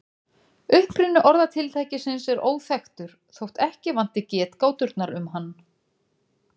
Uppruni orðatiltækisins er óþekktur þótt ekki vanti getgáturnar um hann.